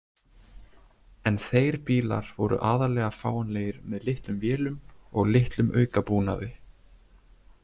En þeir bílar voru aðallega fáanlegir með litlum vélum og litlum aukabúnaði.